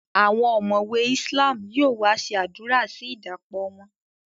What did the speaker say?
Àwọn omowe islam yóò wá ṣe àdúrà sí idapo wọn